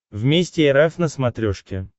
вместе эр эф на смотрешке